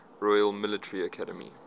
royal military academy